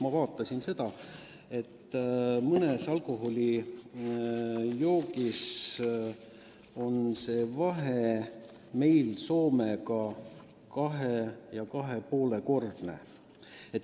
Ma vaatasin seda ja nägin, et mõne alkohoolse joogi puhul on meil vahe Soomega 2–2,5-kordne.